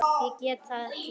Ég get það ekki!